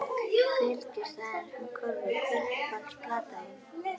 Fylgist aðeins með körfu Hver er uppáhalds platan þín?